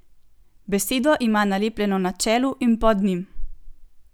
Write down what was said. Besedo ima nalepljeno na čelu in pod njim.